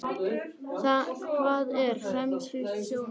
Hvað er femínískt sjónarhorn?